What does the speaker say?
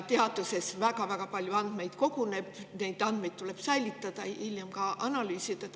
Teaduses koguneb väga-väga palju andmeid, neid andmeid tuleb säilitada ja hiljem ka analüüsida.